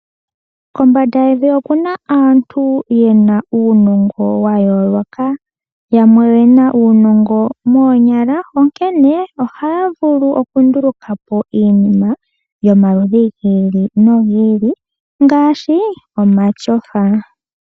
Kombanda yevi oku na aantu yena uunongo wa yooloka. Yamwe oye na uunongo moonyala, onkene ohaya vulu okunduluka po iinima yomaludhi gi ili nogi ili ngaashi omatyofa.